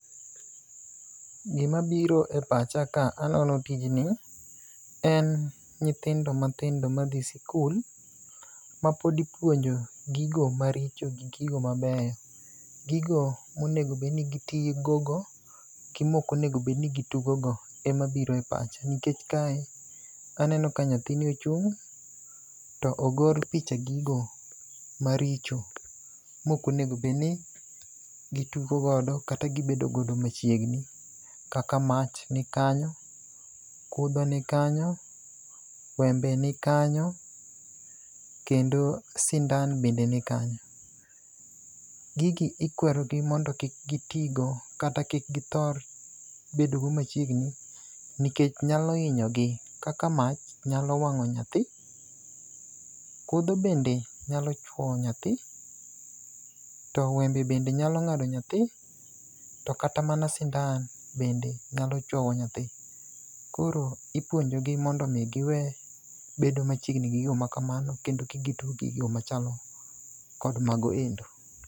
Gimabiro e pacha ka anono tijni en nyithindo matindo madhi sikul, mapod ipuonjo gigo maricho gi gigo mabeyo. Gigo monego bed ni gitugogo gi mok onego obed ni giyugo go emabiro e pach, nikech kae aneno ka nyathini ochung', to ogor picha gigo maricho mok onego obed ni gitugo godo kata gibedo godo machiegni kaka mach ni kanyo, kudho ni kanyo, wembe ni kanyo kendo sindan bende nikanyo. Gigi ikwerogi mondo kik gitigo kata kik githor bedo go machiegni nikech nyal hinyo gi . Kaka mach nyalo wang'o nyathi. Kudho bende nyalo chuoyo nyathi, to wembe bende nyalo ng'ado nyathi. To kata mana sindan, bende nyalo chuowo nyathi. Koro ipuonjogi mondo omi giwe bedo machiegni gi gigo makamano, kendo kik gitug gi gigo machal kod mano endo.